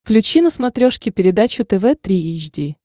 включи на смотрешке передачу тв три эйч ди